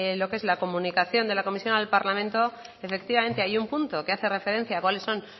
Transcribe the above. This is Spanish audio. los que es la comunicación de la comisión al parlamento efectivamente hay un punto que hace referencia a cuáles son